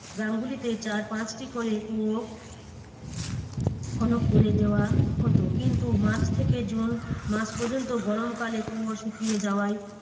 গ্রামগুলিতে চার পাঁচটি করে কুয়ো খনন করে দেওয়া হতো, কিন্তু মার্চ থেকে জুন মাস পর্যন্ত গরমকালে কুয়ো শুকিয়ে যাওয়ায়